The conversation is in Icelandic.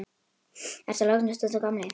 Ertu að lognast út af, gamli?